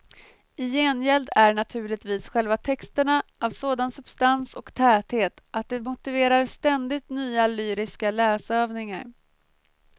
I gengäld är naturligtvis själva texterna av sådan substans och täthet att det motiverar ständigt nya lyriska läsövningar.